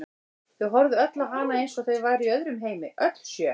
Þau horfðu öll á hana eins og þau væru í öðrum heimi, öll sjö.